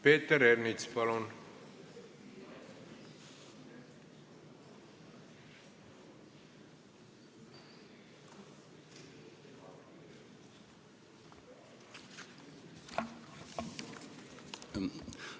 Peeter Ernits, palun!